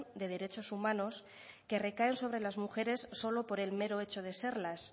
de derechos humanos que recaen sobre las mujeres solo por el mero hecho de serlo